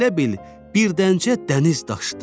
Elə bil birdəncə dəniz daşdı.